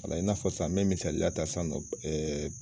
Wala , in n'a fɔ sisan mɛ misaliya ta san